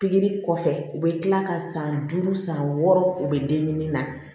Pikiri kɔfɛ u bɛ kila ka san duuru san san wɔɔrɔ u bɛ dennin na